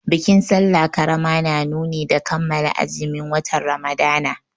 Bikin sallah ƙarama na nuni da kammala azumin watan Ramadana.